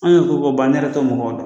An y'o ko ko ban ne yɛrɛ t'o mɔgɔ dɔn.